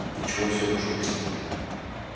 ничего всё обошлось